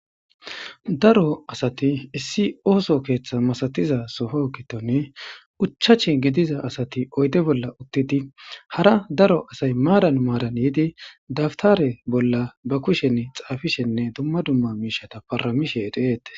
Daro asati issi ooso keeththa masatiza soho kitone uchachi gidiza asati oyde bolla uttidi hara daro asay maaran maaran yiidi dabtare bolla ba kushen xaafishenne dumma dumma miishata paramishedheeete.